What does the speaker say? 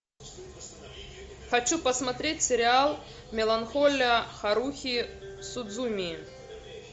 хочу посмотреть сериал меланхолия харухи судзумии